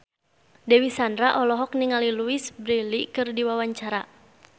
Dewi Sandra olohok ningali Louise Brealey keur diwawancara